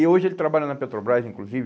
E hoje ele trabalha na Petrobras, inclusive.